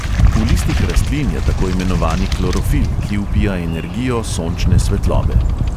V listih rastlin je tako imenovani klorofil, ki vpija energijo sončne svetlobe.